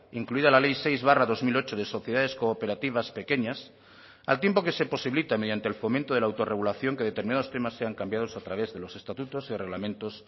incluida la ley seis barra dos mil ocho de sociedades cooperativas pequeñas al tiempo que se posibilita mediante el fomento de la autorregulación que determinados temas sean cambiados a través de los estatutos y reglamentos